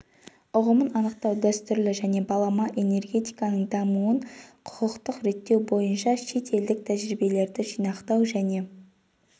ұғымын анықтау дәстүрлі және балама энергетиканың дамуын құқықтық реттеу бойынша шет елдік тәжірибелерді жинақтау және